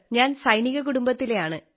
ഞാൻ സൈനിക കുടുംബത്തിലെയാണ്